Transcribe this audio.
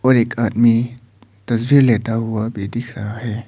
और एक आदमी तस्वीर लेता हुआ भी दिख रहा है।